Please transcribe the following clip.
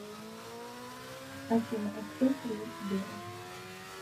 афина а сколько лет сберу